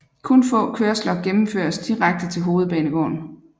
Kun få kørsler gennemføres direkte til hovedbanegården